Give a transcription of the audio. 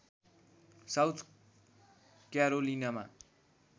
south क्यारोलिनामा